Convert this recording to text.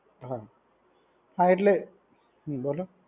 હા, હા એટલે બોલો.